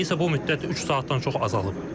İndi isə bu müddət üç saatdan çox azalıb.